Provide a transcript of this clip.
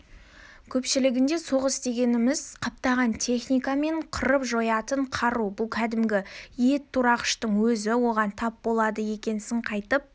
көпшілігінде соғыс дегеніміз қаптаған техника мен қырып-жоятын қару бұл кәдімгі ет турағыштың өзі оған тап болды екенсің қайтып